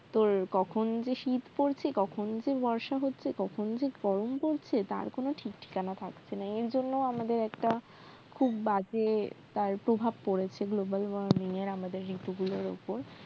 তো কখন যে শিত পড়ছে কখন যে বর্ষা হচ্ছে কখন যে গরম পড়ছে তার কোন ঠিকঠিকানা থাকছে না এর জন্য আমাদের একটা খুব বাজে তার প্রভাব পরেছে global warming এর আমাদের ঋতুগুলোর ওপর